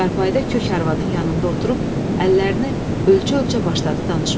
Çarpayda kök arvadın yanında oturub, əllərini ölçə-ölçə başladı danışmağa.